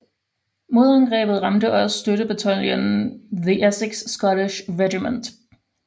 Modangrebet ramte også støttebataljonen The Essex Scottish Regiment